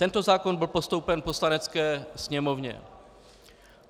Tento zákon byl postoupen Poslanecké sněmovně.